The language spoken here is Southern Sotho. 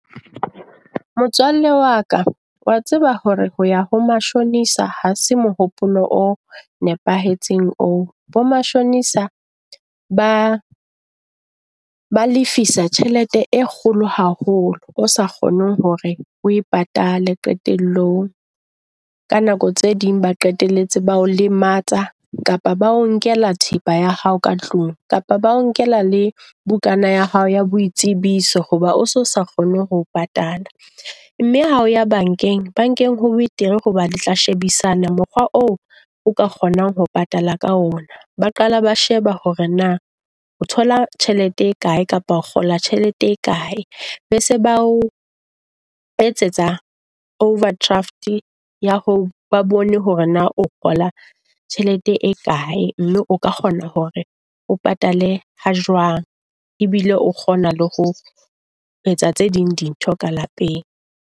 Motswalle wa ka wa tseba hore ho ya ho mashonisa ha se mohopolo o nepahetseng oo. Bo mashonisa ba ba lefisa tjhelete e kgolo haholo, o sa kgoneng hore o e patale qetellong. Ka nako tse ding ba qetelletse ba o lematsa kapa ba o nkela thepa ya hao ka tlung kapa ba nkela le bukana ya hao ya boitsebiso. Hoba o se sa kgone ho patala mme hao ya bankeng, bankeng ho betere hoba le tla shebisana mokgwa oo o ka kgonang ho patala ka ona. Ba qala ba sheba hore na o thola tjhelete e kae kapa o kgola tjhelete e kae. Be se ba o etsetsa overdraft ya ho ba bone, hore na o kgola tjhelete e kae. Mme o ka kgona hore o patale ha jwang ebile o kgona le ho etsa tse ding di ntho ka lapeng.